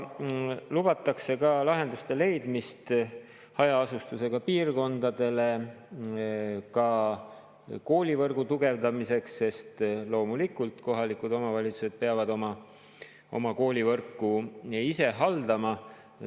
Lubatakse lahenduste leidmist hajaasustusega piirkondadele koolivõrgu tugevdamiseks, sest kohalikud omavalitsused peavad oma koolivõrku loomulikult ise haldama.